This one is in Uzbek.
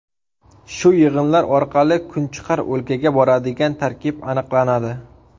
Shu yig‘inlar orqali kunchiqar o‘lkaga boradigan tarkib aniqlanadi.